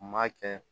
M'a kɛ